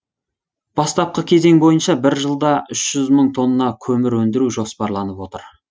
бастапқы кезең бойынша бір жылда үш жүз мың тонна көмір өндіру жоспарланып отыр